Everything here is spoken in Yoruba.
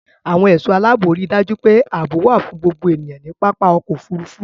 Àwọn ẹ̀ṣọ́ aláàbò ri dájú pé àbọ̀ wà fún gbogbo èèyàn ní pápá ọkọ-òfurufú.